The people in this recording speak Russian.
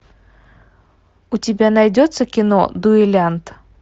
у тебя найдется кино дуэлянт